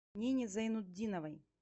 нине зайнутдиновой